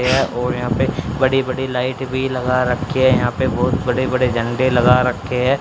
ये और यहां पे बड़ी-बड़ी लाइट भी लगा रखे हैं यहां पे बहुत बड़े-बड़े झंडे भी लगा रखे हैं।